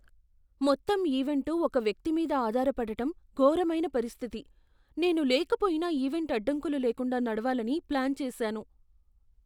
మొత్తం ఈవెంటు ఒక వ్యక్తి మీద ఆధారపడటం ఘోరమైన పరిస్థితి, నేను లేకపోయినా ఈవెంట్ అడ్డంకులు లేకుండా నడవాలని ప్లాన్ చేసాను.